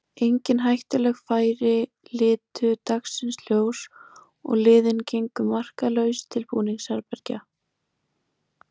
Engin hættuleg færi litu dagsins ljós og liðin gengu markalaus til búningsherbergja.